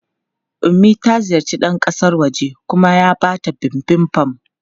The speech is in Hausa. Ummi ta ziyarci ɗan kasan wajen kuma ya ba ta Bibimbap.